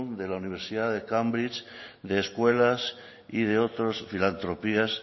de la universidad de cambridge de escuelas y de otras filantropías